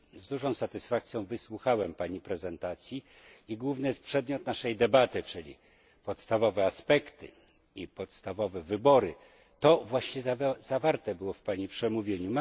Z dużą satysfakcją wysłuchałem Pani prezentacji i główny przedmiot naszej debaty, czyli podstawowe aspekty i podstawowe wybory, to właśnie zawarte było w Pani przemówieniu.